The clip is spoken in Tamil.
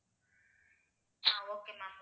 ah okay ma'am